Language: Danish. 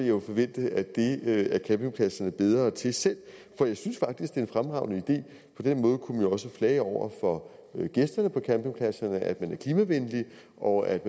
jo forvente at det er campingpladserne bedre til selv for jeg synes faktisk en fremragende idé på den måde kunne man jo også flage over for gæsterne på campingpladserne at man er klimavenlig og at